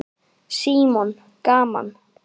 Símon: Gaman?